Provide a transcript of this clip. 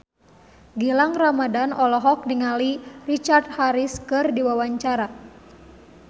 Gilang Ramadan olohok ningali Richard Harris keur diwawancara